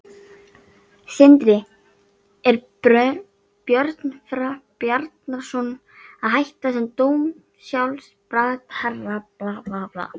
Sindri: Er Björn Bjarnason að hætta sem dómsmálaráðherra?